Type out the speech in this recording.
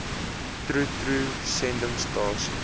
troe troe sendingstasie